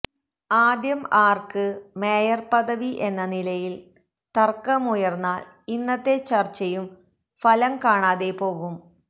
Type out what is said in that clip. ആദ്യം ആർക്ക് മേയർ പദവി എന്ന നിലയിൽ തർക്കമുയർന്നാൽ ഇന്നത്തെ ചർച്ചയും ഫലം കാണാതെ പോകും